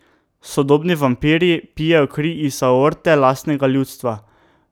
Sodobni vampirji pijejo kri iz aorte lastnega ljudstva.